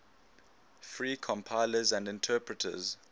free compilers and interpreters